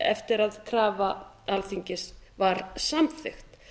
eftir að krafa alþingis var samþykkt